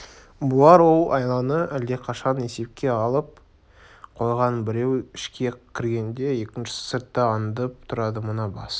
бұлар ол айланы әлдеқашан есепке алып қойған біреу ішке кіргенде екіншісі сыртта аңдып тұрады мына бас